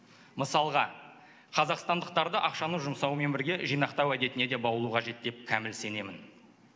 мысалға қазақстандықтарды ақшаны жұмсаумен бірге жинақтау әдетіне де баулу қажет деп кәміл сенемін